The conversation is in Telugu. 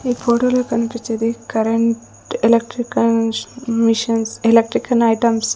ఈ ఫోటోలో కనిపించేది కరెంట్ ఎలక్ట్రికల్ మిశ్ మిషన్స్ ఎలక్ట్రికన్ ఐటమ్స్ .